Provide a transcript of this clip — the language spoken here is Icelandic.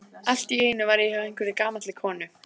Allt í einu var ég hjá einhverri gamalli konu.